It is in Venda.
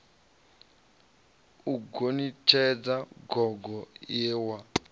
u gonitshedza gogo ie wa